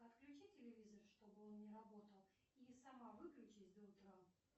отключи телевизор чтобы он не работал и сама выключись до утра